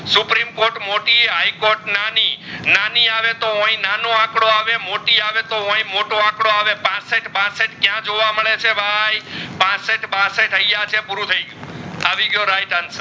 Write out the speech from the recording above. supreme court મોટી હિઘ્ત court નાની નાની આવી હોય તો નાનો આકડો આવે મોટી આવી હોય તો મોટો આકડો આવે પાસઠ બાસઠ ક્યાં જોવા મેડ છે ભાઈ પાસઠ બાસઠ આઇયાહ છે પૂરું થઈ ગયું